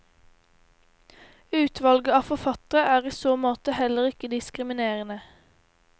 Utvalget av forfattere er i så måte heller ikke diskriminerende.